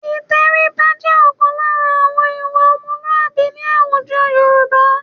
Ìtẹríba jẹ́ ọ̀kan lára ìwà ọmọlúàbí ní àwùjọ Yorùbá